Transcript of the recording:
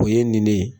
O ye nin ne ye